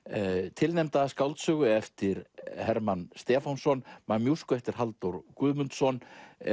tilnefnda skáldsögu eftir Hermann Stefánsson mamúsku eftir Halldór Guðmundsson